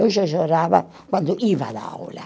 Eu já chorava quando ia à aula.